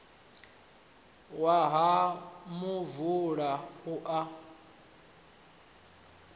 wa ha muvula na u